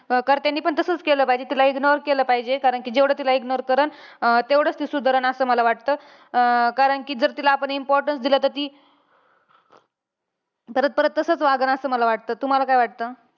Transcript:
अं घरच्यांनी पण तसंच केलं पाहिजे. तिला ignore केलं पाहिजे. कारण कि जेवढं तिला ignore करणं अं तेवढंच ती सुधरणं, असं मला वाटतं. अं कारण कि जर तिला आपण importance दिलं तर ती परत परत तसंच वागणं असं मला वाटतं. तुम्हांला काय वाटतं?